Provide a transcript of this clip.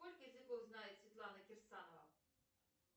сколько языков знает светлана кирсанова